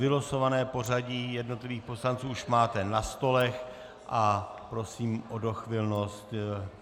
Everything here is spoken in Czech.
Vylosované pořadí jednotlivých poslanců už máte na stolech a prosím o dochvilnost.